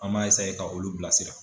An m'a ka olu bila sira.